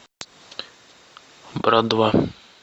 брат два